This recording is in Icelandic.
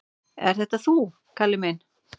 """Ert þetta þú, Kalli minn?"""